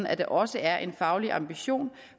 at der også er en faglig ambition